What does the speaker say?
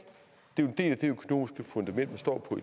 dem der i